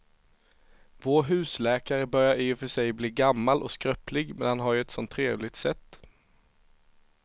Vår husläkare börjar i och för sig bli gammal och skröplig, men han har ju ett sådant trevligt sätt!